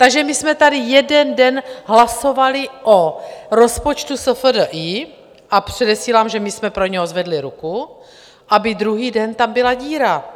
Takže my jsme tady jeden den hlasovali o rozpočtu SFDI - a předesílám, že my jsme pro něj zvedli ruku - aby druhý den tam byla díra.